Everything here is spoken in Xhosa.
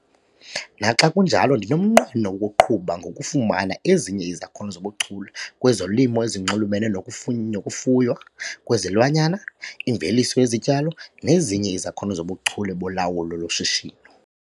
Naxa kunjalo ndinomnqweno wokuqhuba ngokufumana ezinye izakhono zobuchule kwezolimo ezinxulumene nokufuny nokufuywa kwezilwanyana, imveliso yezityalo, nezinye izakhono zobuchule bolawulo loshishino.